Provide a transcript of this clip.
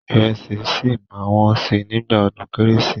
Ìrẹsì ṣì máa wọ́n sí nígbà ọdún kẹ́rẹ́sì.